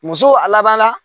Muso a laban la